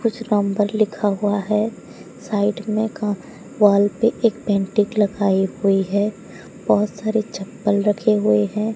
कुछ नंबर लिखा हुआ है साइड में का वॉल पे एक पेंटिंग लगाई हुई है बहोत सारे चप्पल रखे हुए हैं।